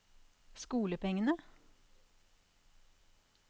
skolepengene